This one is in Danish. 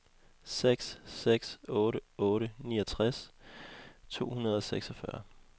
seks seks otte otte niogtres to hundrede og seksogfyrre